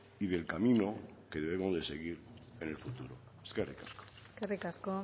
y del camino que debemos de seguir en el futuro eskerrik asko eskerrik asko